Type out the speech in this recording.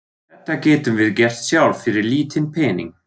Þetta getum við gert sjálf fyrir lítinn pening.